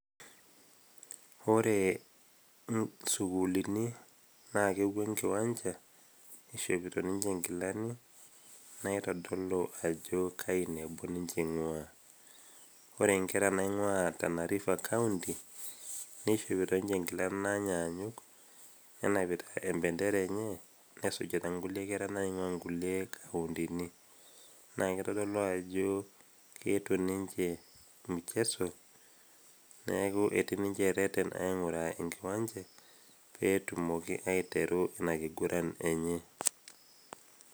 ore isukulini naa kepuo enkiwanja ishopito ninche inkilani naitodolu ajo kainebo ninche ing'ua wore inkera naing'ua tanariver county nishopito ninche inkilani nanyaanyuk nenapita embendera enye nesujita inkulie kera naing'ua inkuli kauntini naa kitodolu ajo keetuo ninche mcheso neeku etii ninche ereten aing'uraa enkiwanja petumoki aiteru ina kiguran enye.